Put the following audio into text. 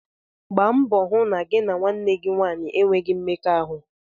Gba mbọ hụ na gị na nwanne gị nwanyị enweghị mmekọahụ!